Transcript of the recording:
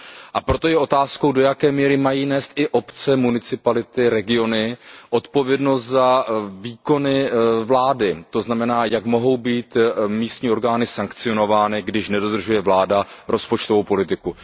A proto je otázkou, do jaké míry mají nést i obce, municipality, regiony odpovědnost za výkony vlády, to znamená, jak mohou být místní orgány sankcionovány, když nedodržuje vláda rozpočtovou politiku.